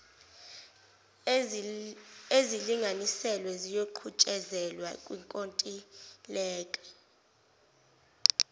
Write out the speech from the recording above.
ezilinganiselwe ziyoqhutshezelwa kwinkontileka